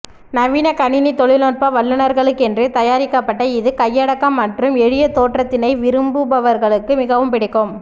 நவீன கணினித் தொழில்நுட்ப வல்லுநர்களுக்கென்றே தயாரிக்கப்பட்ட இது கையடக்கம் மற்றும் எளிய தோற்றத்தினை விரும்புபவர்களுக்கு மிகவும் பிடிக்கும்